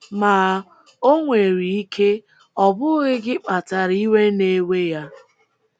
Ma, o nwere ike ọ bụghị gị kpatara iwe na - ewe ya.